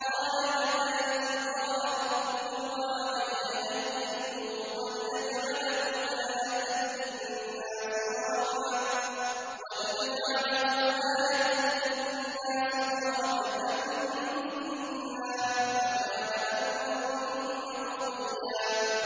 قَالَ كَذَٰلِكِ قَالَ رَبُّكِ هُوَ عَلَيَّ هَيِّنٌ ۖ وَلِنَجْعَلَهُ آيَةً لِّلنَّاسِ وَرَحْمَةً مِّنَّا ۚ وَكَانَ أَمْرًا مَّقْضِيًّا